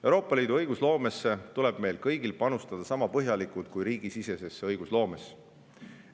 Euroopa Liidu õigusloomesse tuleb meil kõigil panustada sama põhjalikult kui riigisisesesse õigusloomesse.